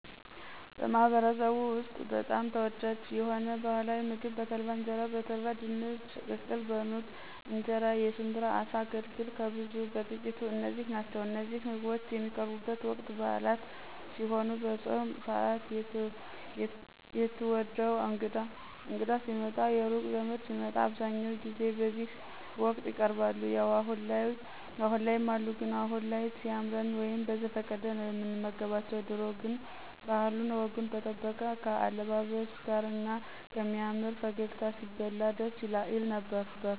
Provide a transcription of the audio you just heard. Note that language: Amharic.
በማህበረሰብዎ ውስጥ በጣም ተወዳጅ የሆነው ባህላዊ ምግብ በተልባ እንጀራ፣ በተልባ ድንች ቅቅል፣ በኑግ እንጀራ፣ የሽብራ አሳ፣ አገልግል፣ ከብዙ በጥቂቱ እነዚህ ናቸው እነዚህ ምግቦች የሚቀርቡቡት ወቅት ብአላት ሲሄኑ፣ በፆም ስአት፣ የትዎደው እንግዳ ሲመጣ፣ የሩቅ ዘመድ ሲመጣ አብዛኛው ጊዜ በዚህ ወቅት ይቀርባሉ። ያው አሁን ላይ ይም አሉ ግን አሁን ላይ ሲያምረን ወይም በዘፈቀደ ነው ምንመገባቸው ድሮ ግን ባህሉን ወጉን የጠበቀ ከአለባበስ ጋር እና ከሚያምር ፈገግታ ሲበላ ደስ ይል ነበር።